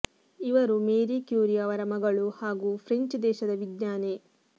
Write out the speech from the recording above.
ಇವರು Marie Curie ಅವರ ಮಗಳು ಹಾಗು ಫ್ರೆಂಚ್ ದೇಶದ ವಿಜ್ಞಾನಿ